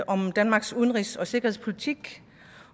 om danmarks udenrigs og sikkerhedspolitik